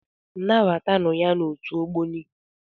Nabata nụ ya n'otu Ogboni!